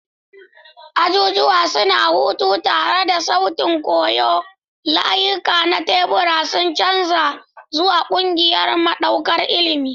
Ajujuwa suna huta tare da sautin koyo, layuka na tebura sun canza zuwa ƙungiyar makaɗar ilimi.